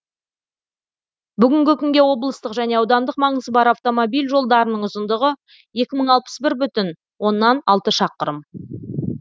бүгінгі күнге облыстық және аудандық маңызы бар автомобиль жолдарының ұзындығы екі мың алпыс бір бүтін оннан алты шақырым